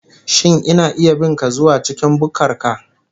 Shin ina iya bin ka zuwa cikin bukkar ka